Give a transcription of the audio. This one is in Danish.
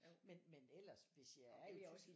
Men men ellers hvis jeg er i